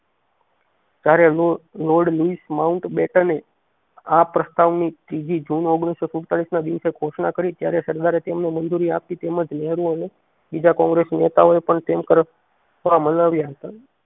જેયારે lord Louis માઉન્ટ બેટને આ પ્રસ્તાવ ની ત્રીજી જૂન ઓગણીસો સુડતાલીસ ના દિવસે ઘોષણા કરી ત્યારે સરદારે તેમને મંજૂરી આપી તેમજ નહેરુ અને બીજા કોંગ્રેસ નેતાઓએ પણ તેમ તરફ મનાવ્યા હતા